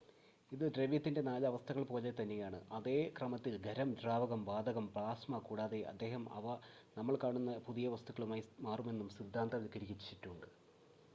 ഇത് ദ്രവ്യത്തിന്റെ നാല് അവസ്ഥകൾ പോലെതന്നെയാണ് അതേ ക്രമത്തിൽ; ഖരം ദ്രാവകം വാതകം പ്ലാസ്മ കൂടാതെ അദ്ദേഹം അവ നമ്മൾ കാണുന്ന പുതിയ വസ്തുക്കളായി മാറുമെന്നും സിദ്ധാന്തവൽക്കരിച്ചിട്ടുണ്ട്